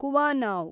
ಕುವಾನಾವ್